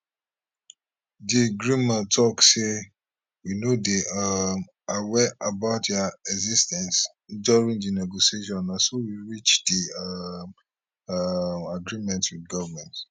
di grnma tok say we no dey um aware about dia exis ten ce during di negotiation na so we reach di um um agreement wit goment